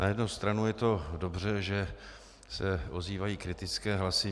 Na jednu stranu je to dobře, že se ozývají kritické hlasy.